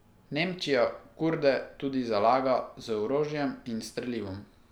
Nemčija Kurde tudi zalaga u orožjem in strelivom.